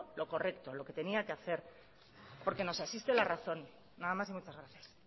lo correcto lo que tenía que hacer porque nos asiste la razón nada más y muchas gracias